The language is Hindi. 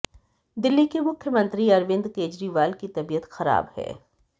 दिल्ली के मुख्यमंत्री अरविंद केजरीवाल की तबीयत खराब है